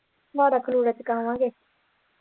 ਮਾੜਾ ਖਲੇਰ ਚੁਕਾਵਾਂਗੇ।